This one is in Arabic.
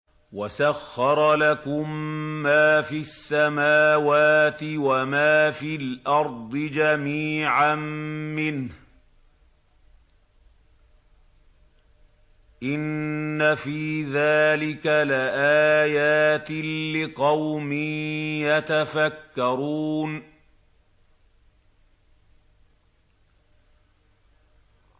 وَسَخَّرَ لَكُم مَّا فِي السَّمَاوَاتِ وَمَا فِي الْأَرْضِ جَمِيعًا مِّنْهُ ۚ إِنَّ فِي ذَٰلِكَ لَآيَاتٍ لِّقَوْمٍ يَتَفَكَّرُونَ